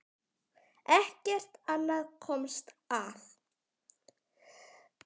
Ekkert annað komst að.